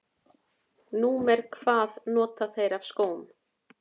Númer hvað nota þeir af skóm?